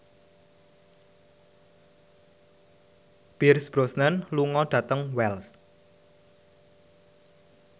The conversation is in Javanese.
Pierce Brosnan lunga dhateng Wells